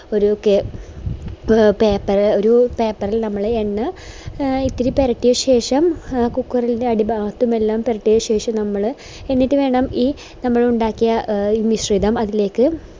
ഒരു കെ paper ഒരു paper ഇൽ നമ്മള് എണ്ണ ഇത്തിരി പെരട്ടിയ ശേഷം എ cooker ൻറെ അടിഭാഗത്തും എല്ലാം പെരട്ടിയ ശേഷം നമ്മൾ എന്നിട്ട് വേണം ഈ നമ്മളിണ്ടാക്കിയ ഈ മിശ്രിതം അതിലേക്ക്